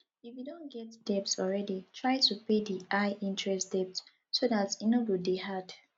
if you don get debt already try to pay di high interest debt so dat e no go dey add